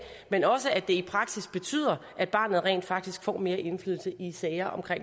men også at det i praksis betyder at barnet rent faktisk får mere indflydelse i sager om